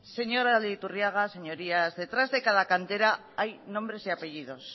señor aldaiturriaga señorías detrás de cada cantera hay nombres y apellidos